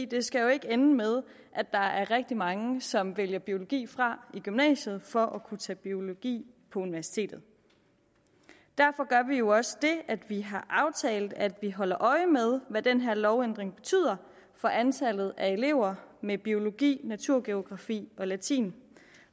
det skal jo ikke ende med at der er rigtig mange som vælger biologi fra i gymnasiet for at kunne tage biologi på universitetet derfor gør vi jo også det at vi har aftalt at vi holder øje med hvad den her lovændring betyder for antallet af elever med biologi naturgeografi og latin